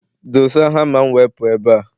Doza hama m wee pụọ ebe a!